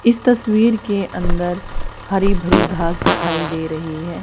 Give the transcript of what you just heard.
इस तस्वीर के अंदर हरी भरी घांस दिखाई दे रही है।